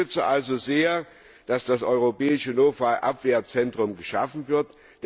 Ich unterstütze also sehr, dass das europäische Notfall Abwehrzentrum geschaffen wird.